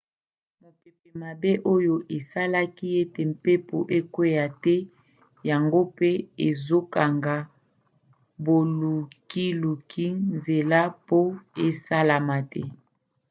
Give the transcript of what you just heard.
mopepe mabe oyo esalaki ete mpepo ekwea te yango mpe ezokanga bolukiluki nzela po esalama te